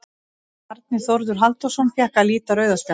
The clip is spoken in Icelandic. Bjarni Þórður Halldórsson fékk að líta rauða spjaldið.